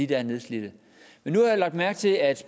der er nedslidte men nu har jeg lagt mærke til at